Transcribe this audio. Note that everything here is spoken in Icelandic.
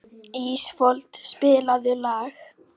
Ísfold, spilaðu lag.